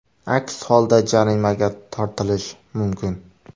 Aks holda jarimaga tortilish mumkin.